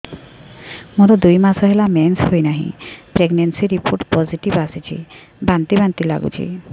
ମୋର ଦୁଇ ମାସ ହେଲା ମେନ୍ସେସ ହୋଇନାହିଁ ପ୍ରେଗନେନସି ରିପୋର୍ଟ ପୋସିଟିଭ ଆସିଛି ବାନ୍ତି ବାନ୍ତି ଲଗୁଛି